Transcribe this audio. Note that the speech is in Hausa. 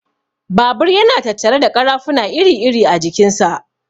Babur yana tattare da ƙarafuna iri-iri a jikin sa.